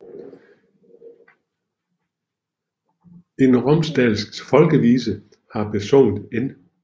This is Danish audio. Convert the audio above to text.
En romsdalsk folkevise har besunget N